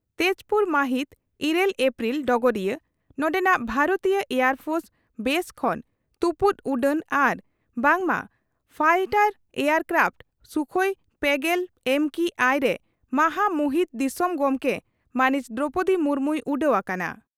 ᱛᱮᱡᱽᱯᱩᱨ ᱢᱟᱦᱤᱛ ᱤᱨᱟᱹᱞ ᱟᱯᱨᱤᱞ (ᱰᱚᱜᱚᱨᱤᱭᱟᱹ) ᱺ ᱱᱚᱰᱮᱱᱟᱜ ᱵᱷᱟᱨᱚᱛᱤᱭᱟᱹ ᱮᱭᱟᱨ ᱯᱷᱳᱨᱥ ᱵᱮᱥ ᱠᱷᱚᱱ ᱛᱩᱯᱩᱫ ᱩᱰᱟᱹᱱ ᱟᱨ ᱵᱟᱝ ᱢᱟ ᱯᱷᱟᱭᱴᱟᱨ ᱮᱭᱟᱨ ᱠᱨᱟᱯᱷᱴ ᱥᱩᱠᱷᱚᱤ ᱯᱮᱜᱮᱞ ᱮᱢ ᱠᱤ ᱟᱭ ᱨᱮ ᱢᱟᱦᱟ ᱢᱩᱦᱤᱱ ᱫᱤᱥᱚᱢ ᱜᱚᱢᱠᱮ ᱢᱟᱹᱱᱤᱡ ᱫᱨᱚᱣᱯᱚᱫᱤ ᱢᱩᱨᱢᱩᱭ ᱩᱰᱟᱹᱣ ᱟᱠᱟᱱᱟ ᱾